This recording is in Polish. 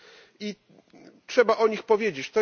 I trzeba o nich powiedzieć.